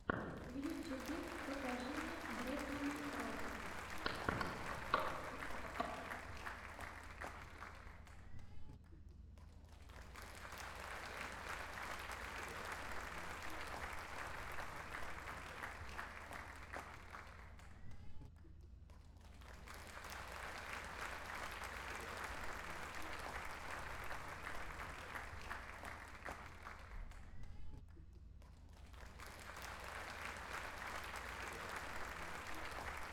в ютьюбе покажи мне бретмана рока